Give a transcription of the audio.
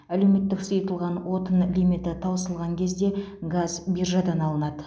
әлеуметтік сұйытылған отын лимиті таусылған кезде газ биржадан алынады